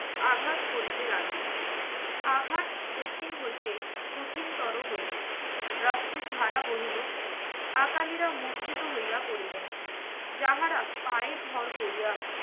আঘাত করিতে লাগিল। আঘাত কঠিন হইতে কঠিনতর হইলো। রক্তের ধারা বহিলো। আকালিরা মূর্ছিত হইয়া পড়িলেন। যাহারা পায়ে ভর করিয়া